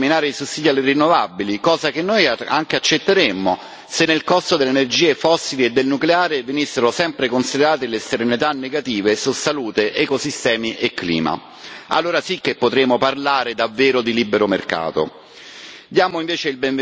Contemporaneamente, si vorrebbero eliminare i sussidi alle rinnovabili, cosa che noi anche accetteremmo se nel costo delle energie fossili e del nucleare venissero sempre considerate le esternalità negative su salute, ecosistemi e clima allora sì che potremmo parlare davvero di libero mercato!